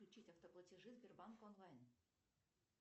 включить автоплатежи сбербанк онлайн